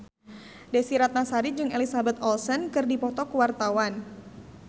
Desy Ratnasari jeung Elizabeth Olsen keur dipoto ku wartawan